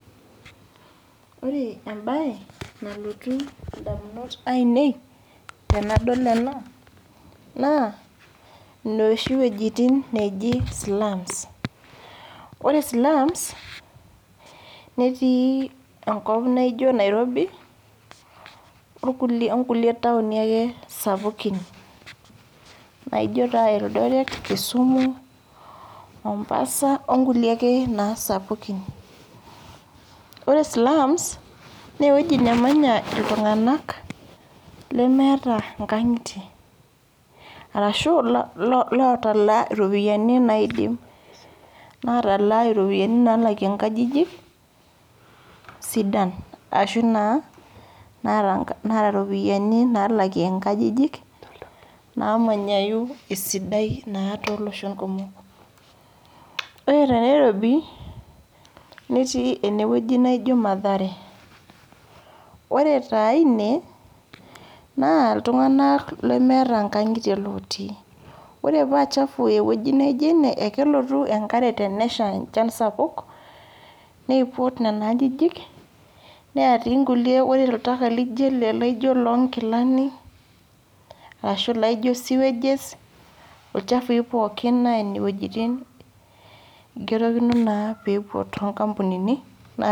Kore ebaye nalotuu ndamunot anien tanadol ena naa nooshi wuejitin naijoo slums. Ore slums netii enkoop naijoo Nairobi netii onkulee taoni ake sapukin naijoo taa Eldoret, Kisumu, Mombasa onkulee ake nasapukin. Ore slums nee wueji namanyaa ltung'anak lemeeta nkaang'itie arashu lotalaa ropiani naidiim, natalaa ropiani naalakie nkaajijik sidaan ashuu naa ropiani naa ropiani naalakie nkaajijik naimanyayu esidai naa to losho kumook. Ore tene Nairobi netii ene wueji naijoo Mathare, ore taa ene naa ltung'anak lemeeta nkaang'itie lootii. Ore pee chafuu ewueji najii ene kelotuu enkaare tene shaa enchaan sapaku neipuut nenia aajijik nea tii nkulee. Ore ltakaa lijoo ele laijoo lo gilaani arashu laijoo sewages olchafui pooki naa ene wuejitin keitokini naa pee poot nkampunini.